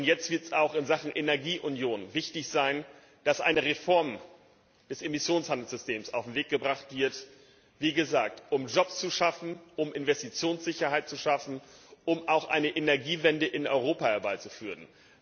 Jetzt wird es auch in Sachen Energieunion wichtig sein, dass eine Reform des Emissionshandelssystems auf den Weg gebracht wird wie gesagt um Arbeitsplätze und Investitionssicherheit zu schaffen, um auch eine Energiewende in Europa herbeizuführen.